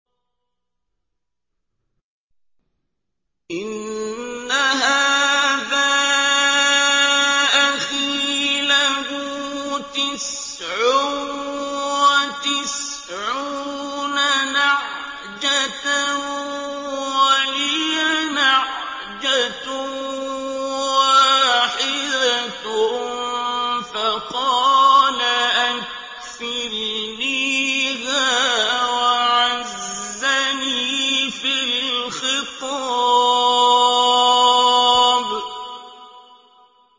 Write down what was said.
إِنَّ هَٰذَا أَخِي لَهُ تِسْعٌ وَتِسْعُونَ نَعْجَةً وَلِيَ نَعْجَةٌ وَاحِدَةٌ فَقَالَ أَكْفِلْنِيهَا وَعَزَّنِي فِي الْخِطَابِ